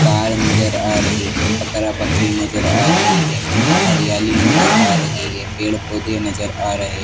car नजर आ रही है बकरा बकरी नजर आ रही है हरियाली नजर आ रही है पेड़ पौधे नजर आ रहे--